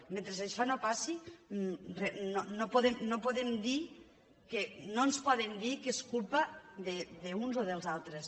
mentre això no passi no ens poden dir que és culpa dels uns o dels altres